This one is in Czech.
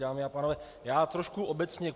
Dámy a pánové, já trošku obecně.